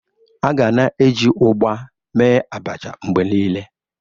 A ga na-eji ụgba mee Abacha mgbe niile.